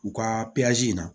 U ka in na